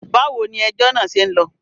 Báwo ni ejọ́ náà ṣe ń lọ?